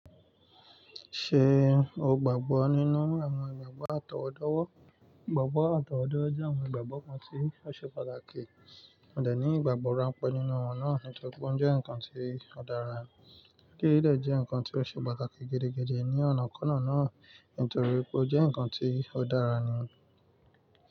Ṣe o gbagbọ ninu awọn igbagbọ atọwọdọwọ? Igbagbọ atọwọdọ jẹ awọn igbagbọ kan ti o ṣe pataki. Mo de ni igbagbọ ranpẹ ninu wọn naa nitori pe o jẹ nkan ti o dara. Kí eyi dé jẹ́ nǹkan tí ó ṣe pàtàkì gẹ̀dẹ́gẹ̀dẹ́ ní ọ̀nà kọ́na náà nítorí pé ó jẹ́ nnkan tí ó dára ni.